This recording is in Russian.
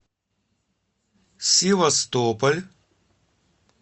севастополь